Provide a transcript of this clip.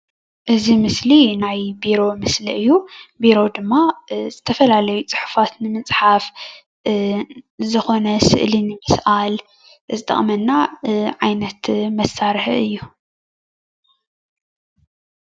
እዚ ምስሊ ናይ ቤሮ ምስሊ እዩ። ቢሮ ድማ ዝተፋላለዩ ፅሑፋት ንምፅሓፍ፣ ዝኮነ ስእሊ ንምስኣል ዝጠቅመና ዓይነት መሳርሒ እዩ።